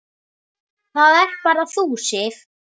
Það ert bara þú, Sif.